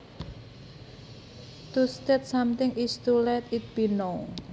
To state something is to let it be known